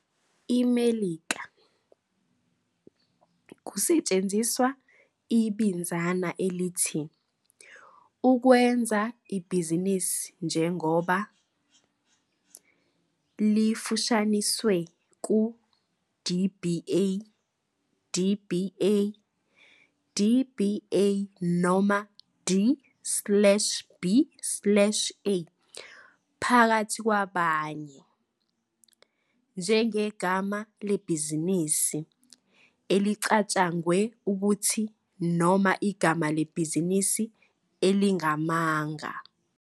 IMelika, kusetshenziswe ibinzana elithi "ukwenza ibhizinisi njengoba", lifushanisiwe ku-DBA, dba, dba noma d slash b slash a, phakathi kwabanye, njengegama lebhizinisi elicatshangwe ukuthi noma igama lebhizinisi elingamanga.